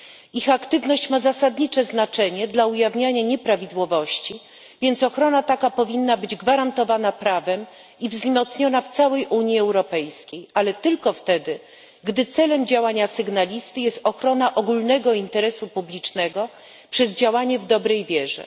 Ich aktywność ma zasadnicze znaczenie dla ujawniania nieprawidłowości, więc ochrona taka powinna być gwarantowana prawem i wzmocniona w całej Unii Europejskiej, ale tylko wtedy, gdy celem działania sygnalisty jest ochrona ogólnego interesu publicznego przez działanie w dobrej wierze.